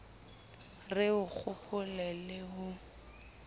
re o kgopo le ho